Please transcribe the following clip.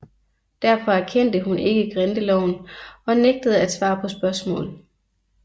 Derfor anerkendte hun ikke grindeloven og nægtede at svare på spørgsmål